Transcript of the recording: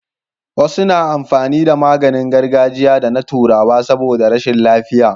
Wasu na amfani da maganin gargajiya da na turawa saboda rashin lafiya